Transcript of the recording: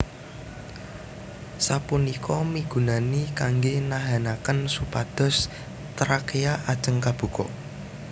Sapunika migunani kanggè nahanakén supados trakea ajeg kabuka